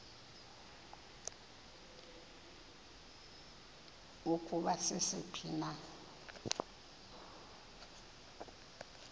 ukuba sisiphi na